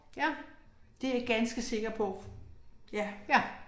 Ja. Ja